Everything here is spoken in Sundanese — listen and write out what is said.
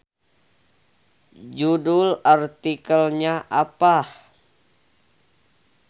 Judul artikelnya apa.